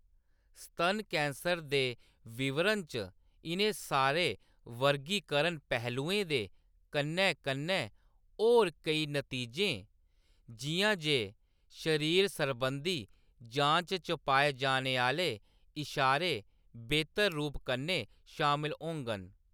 स्तन कैंसर दे विवरण च इʼनें सारे वर्गीकरण पहलुएं दे कन्नै-कन्नै होर केई नतीजे, जिʼयां जे शरीर सरबंधी जांच च पाए जाने आह्‌‌‌ले इशारे बेह्तर रूप कन्नै शामल होङन।